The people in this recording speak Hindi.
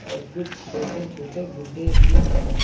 और कुछ छोटे छोटे गुड्डे भी है।